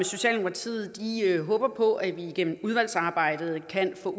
socialdemokratiet håber på at vi igennem udvalgsarbejdet kan få